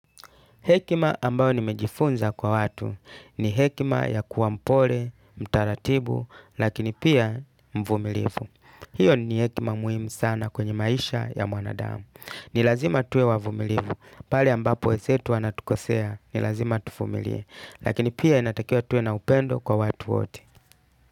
Hekima ambayo nimejifunza kwa watu ni hekima ya kuwa mpole, mtaratibu, lakini pia mvumilivu. Hiyo ni hekima muhimu sana kwenye maisha ya mwanadamu. Ni lazima tuwe wavumilivu. Pale ambapo wenzetu wanatukosea, ni lazima tuvumilie. Lakini pia inatakiwa tuwe na upendo kwa watu wote.